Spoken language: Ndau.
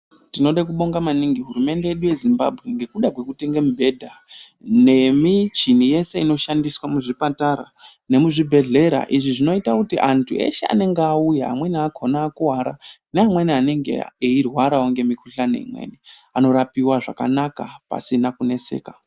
Tinode kubonga maningi hurumende yedu yeZimbabwe ngekuda kwekutenga mibhedha nemichini yese inoshandiswa muzvipatara nemuzvibhedhlera izvi zvinoita kuti antu eshe anonga auya amweni akona akuwara neamweni anonga eirwarawo ngemikuhlani imweni anorapiwa zvakanaka pasina kuneseka .